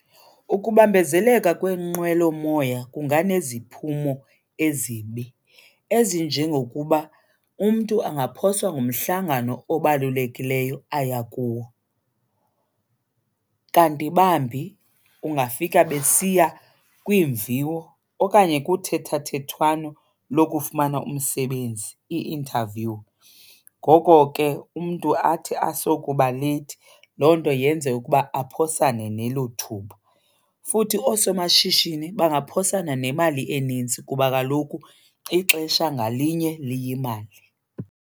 Ukubambezeleka kweenqwelomoya kunganeziphumo ezibi ezinjengokuba umntu angaphoswa ngumhlangano obalulekileyo aya kuwo. Kanti bambi ungafika besiya kwiimviwo okanye kuthethathethwano lokufumana umsebenzi, i-interview. Ngoko ke umntu athi asokuba leyithi loo nto yenze ukuba aphosane nelo thuba. Futhi oosomashishini bangaphosana nemali enintsi kuba kaloku ixesha ngalinye liyimali.